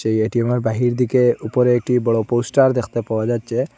এই এ_টি_এমের বাহির দিকে উপরে একটি পোস্টার দেখতে পাওয়া যাচ্ছে।